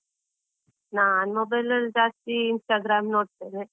ನಾನ್ mobile ಅಲ್ಲಿ ಜಾಸ್ತಿ Instagram ನೋಡ್ತೇನೆ.